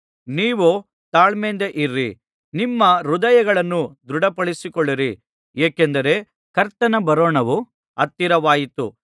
ನೀವೂ ತಾಳ್ಮೆಯಿಂದಿರಿ ನಿಮ್ಮ ಹೃದಯಗಳನ್ನು ದೃಢಪಡಿಸಿಕೊಳ್ಳಿರಿ ಏಕೆಂದರೆ ಕರ್ತನ ಬರೋಣವು ಹತ್ತಿರವಾಯಿತು